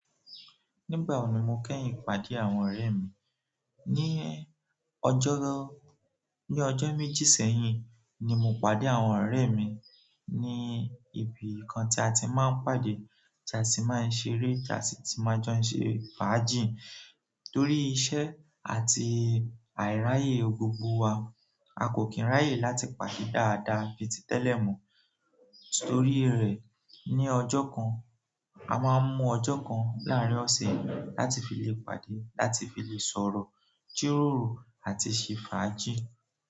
Nígbà wo ni mo kẹ́yìn pàdé àwọn ọ̀rẹ́ mi? Ní ọjọ méjì sẹ́yìn ni mo pàdé àwọn ọrẹ mi ní ibìkan tí a ti máa ń pàdé tí a ti máa ń ṣeré tí a sì ti máa jó ń ṣe fàájì. Torí iṣẹ́ àti àìráyè gbogbo wa, a kò kí ń ráyè láti pàdé dáadáa bíi tí tẹ́lẹ̀ mọ́. Torí rẹ̀, ní ọjọ́ kan, a máa ń mú ọjọ́ kan láàrín ọ̀sẹ̀ láti fi lè pàdé, láti fi lè sọ̀rọ̀, jíròrò àti ṣe fàájì.